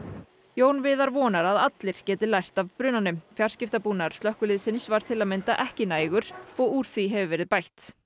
Jón Viðar vonar að allir geti lært af brunanum fjarskiptabúnaður slökkviliðsins var til að mynda ekki nægur og úr því hefur verið bætt